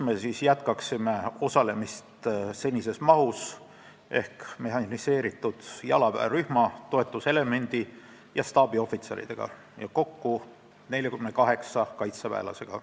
Me jätkaksime osalemist senises mahus ehk mehhaniseeritud jalaväerühma, toetuselemendi ja staabiohvitseridega – kokku 48 kaitseväelasega.